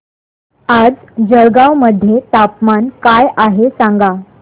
आज जळगाव मध्ये तापमान काय आहे सांगा